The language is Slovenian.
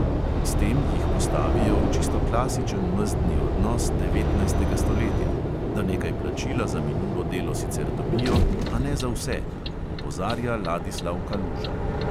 "S tem jih postavijo v čisto klasičen mezdni odnos devetnajstega stoletja, da nekaj plačila za minulo delo sicer dobijo, a ne za vse," opozarja ladislav kaluža.